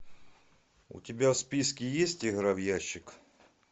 у тебя в списке есть игра в ящик